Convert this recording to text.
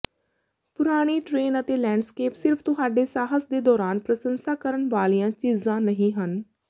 ਪੁਰਾਣੀ ਟ੍ਰੇਨ ਅਤੇ ਲੈਂਡਸਕੇਪ ਸਿਰਫ ਤੁਹਾਡੇ ਸਾਹਸ ਦੇ ਦੌਰਾਨ ਪ੍ਰਸੰਸਾ ਕਰਨ ਵਾਲੀਆਂ ਚੀਜ਼ਾਂ ਨਹੀਂ ਹਨ